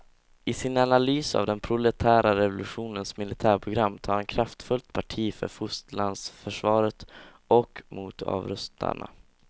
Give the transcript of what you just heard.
I sin analys av den proletära revolutionens militärprogram tar han kraftfullt parti för fosterlandsförsvaret och mot avrustarna.